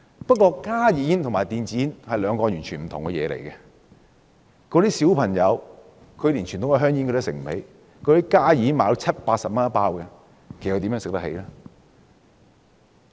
不過，加熱煙和電子煙是兩個完全不同的產品，小朋友連傳統香煙也買不起，加熱煙每包售價七八十元，他們怎會買得起呢？